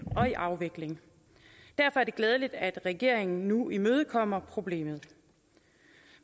og i afvikling derfor er det glædeligt at regeringen nu imødekommer problemet